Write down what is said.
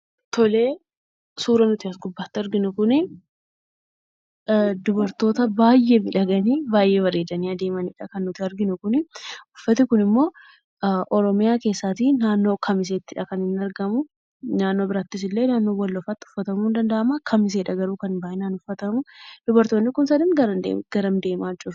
Suura nuti as gubbaatti arginu kun dubartoota baay'ee miidhaganii, baay'ee bareedanii adeemaniidha. Kan nuti arginu kun uffati kun immoo naannoo oromiyaa keessaa naannoo kamiseettidha kan inni argamu. Naannoo biraattis illee, naannoo walloofa'itti illee uffatamuu ni danda'a. kamiseedha garuu kan baay'inaan uffatamuu. Dubartoonni kun sadan gara kam deemaa jiruu?